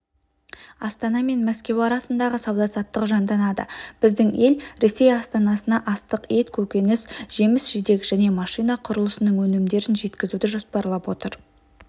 астана мен мәскеу арасындағы сауда-саттық жанданады біздің ел ресей астанасына астық ет көкөніс жеміс-жидек және машина құрылысының өнімдерін жеткізуді жоспарлап отыр